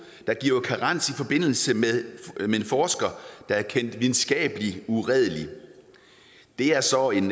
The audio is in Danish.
der giver karens i forbindelse med at en forsker er kendt videnskabeligt uredelig det er så en